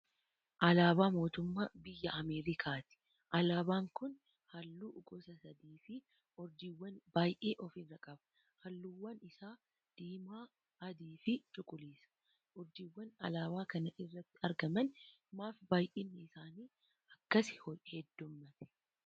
Alaabaa mootummaa biyya Ameerikaati. Alaabaan kun halluu gosa sadii fi urjiiwwan baayyee ofirraa qaba. Halluuwwan isaa: diimaa, adii fi cuquliisa. urjiiwwan alaaba kana irratti argaman maaf baayyinni isaanii akkas heeddummatee?